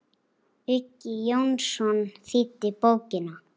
Uggi Jónsson þýddi bókina.